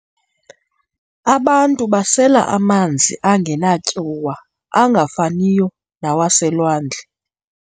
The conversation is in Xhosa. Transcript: Abantu basela amanzi angenatyuwa angafaniyo nawaselwandle.